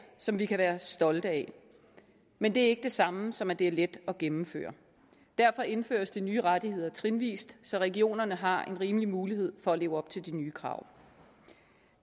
som vi kan være stolte af men det er ikke det samme som at det er let at gennemføre derfor indføres de nye rettigheder trinvis så regionerne har en rimelig mulighed for at leve op til de nye krav